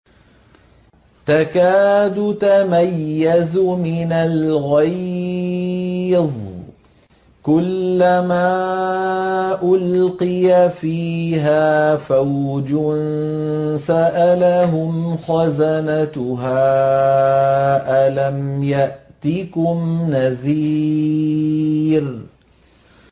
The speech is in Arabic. تَكَادُ تَمَيَّزُ مِنَ الْغَيْظِ ۖ كُلَّمَا أُلْقِيَ فِيهَا فَوْجٌ سَأَلَهُمْ خَزَنَتُهَا أَلَمْ يَأْتِكُمْ نَذِيرٌ